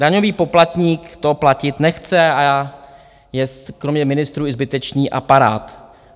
Daňový poplatník to platit nechce a je kromě ministrů i zbytečný aparát.